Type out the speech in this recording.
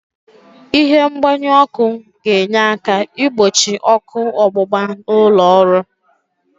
Ịhe mgbanyu ọ́kụ́ ga-enye aka igbochi ọ́kụ́ ọgbụgba n'ụlọ ọrụ.